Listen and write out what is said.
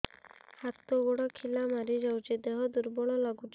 ହାତ ଗୋଡ ଖିଲା ମାରିଯାଉଛି ଦେହ ଦୁର୍ବଳ ଲାଗୁଚି